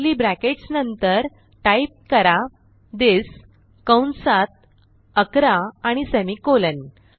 curly brackets नंतर type करा this कंसात 11 आणि सेमिकोलॉन